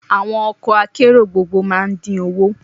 Àwọn ọkọ̀ akérò gbogboogbo máa ń dín owó